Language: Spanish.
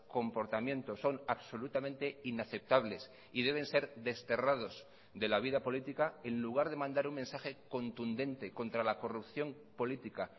comportamientos son absolutamente inaceptables y deben ser desterrados de la vida política en lugar de mandar un mensaje contundente contra la corrupción política